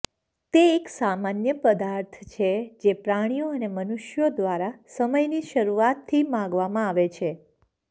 તે એક સામાન્ય પદાર્થ છે જે પ્રાણીઓ અને મનુષ્યો દ્વારા સમયની શરૂઆતથી માંગવામાં આવે છે